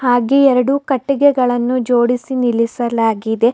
ಹಾಗೆ ಎರಡು ಕಟ್ಟಿಗೆಗಳನ್ನು ಜೋಡಿಸಿ ನಿಲ್ಲಿಸಲಾಗಿದೆ.